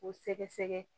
K'o sɛgɛsɛgɛ